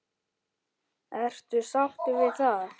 Ertu sáttur við það?